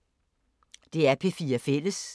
DR P4 Fælles